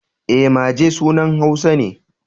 E, Maje sunan Hausa ne.